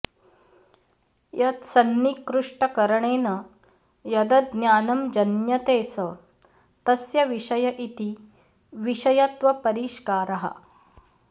यत्सन्निकृष्टकरणेन यदज्ञानं जन्यते स तस्य विषय इति विषयत्वपरिष्कारः